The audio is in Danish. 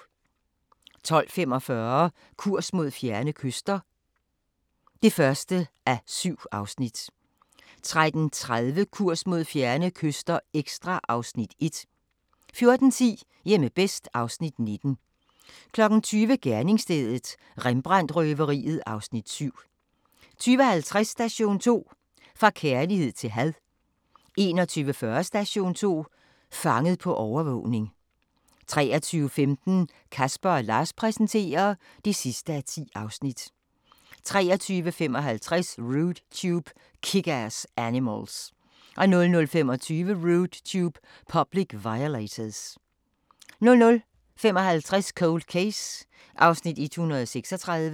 12:45: Kurs mod fjerne kyster (1:7) 13:30: Kurs mod fjerne kyster – ekstra (Afs. 1) 14:10: Hjemme bedst (Afs. 19) 20:00: Gerningsstedet – Rembrandt-røveriet (Afs. 7) 20:50: Station 2: Fra kærlighed til had 21:40: Station 2: Fanget på overvågning 23:15: Casper & Lars præsenterer (10:10) 23:55: Rude Tube – Kick-Ass Animals 00:25: Rude Tube – Public Violators 00:55: Cold Case (136:156)